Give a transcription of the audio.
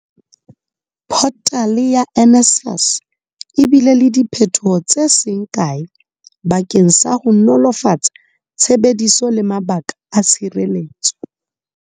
Photale ya NSFAS e bile le diphethoho tse seng kae bakeng sa ho nolofatsa tshebediso le mabaka a tshireletso.